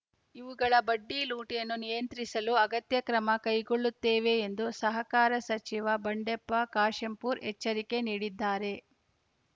ಇವುಗಳ ಬಡ್ಡಿ ಲೂಟಿಯನ್ನು ನಿಯಂತ್ರಿಸಲೂ ಅಗತ್ಯ ಕ್ರಮ ಕೈಗೊಳ್ಳುತ್ತೇವೆ ಎಂದು ಸಹಕಾರ ಸಚಿವ ಬಂಡೆಪ್ಪ ಕಾಶೆಂಪೂರ್‌ ಎಚ್ಚರಿಕೆ ನೀಡಿದ್ದಾರೆ